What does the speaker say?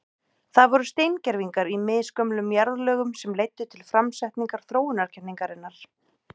Það voru steingervingar í misgömlum jarðlögum sem leiddu til framsetningar þróunarkenningarinnar.